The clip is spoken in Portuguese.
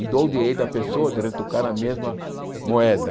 E dou o direito à pessoa de retocar a mesma moeda.